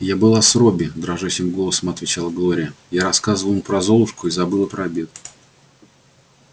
я была с робби дрожащим голосом отвечала глория я рассказывала ему про золушку и забыла про обед